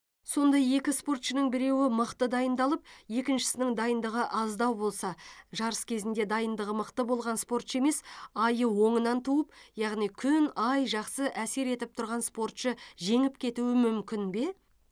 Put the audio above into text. сонда екі спортшының біреуі мықты дайындалып екіншісінің дайындығы аздау болса жарыс кезінде дайындығы мықты болған спортшы емес айы оңынан туып яғни күн ай жақсы әсер етіп тұрған спортшы жеңіп кетуі мүмкін бе